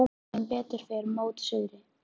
Þeir vita sem betur fer mót suðri.